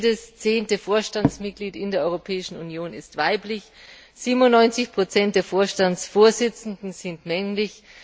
Nur jedes zehnte Vorstandsmitglied in der Europäischen Union ist weiblich, 97 der Vorstandsvorsitzenden sind männlich.